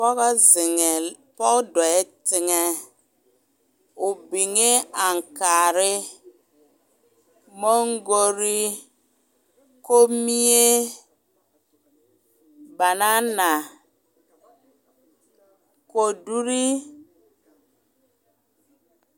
Poge ziŋee poge dɔgɛɛ teŋɛ o biŋee ankaare maŋkoree komiire banana koduree.